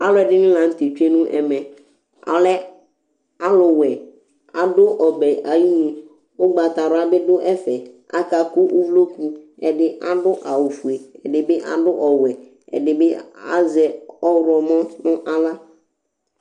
alu ɛdini la nu tɛ tsʋe nu ɛmɛ, ɔlɛ alu wɛ , ɔdu ɔbɛ ayinu, ugbata wla bi du ɛfɛ , aka ku uvloku, ɛdi adu awu fue, ɛdini adu ɔwɛ, ɛdi bi azɛ ɔwlɔmɔ nu aɣla